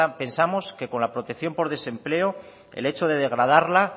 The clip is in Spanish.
pensamos que con la protección por desempleo el hecho de degradarla